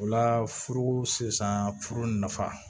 O la furu sisan furu nafa